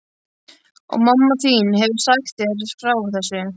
Og mamma þín hefur sagt þér frá þessu?